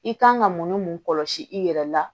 I kan ka mun ni mun kɔlɔsi i yɛrɛ la